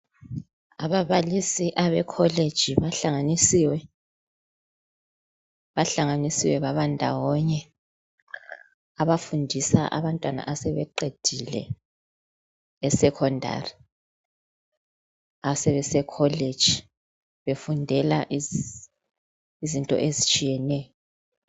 Ababalisi abecollege bahlanganisiwe, bahlanganisiwe babandawonye abafundisa abantwana asebeqedile eSecondary asebesecollege befundela izinto ezitshiyeneyo.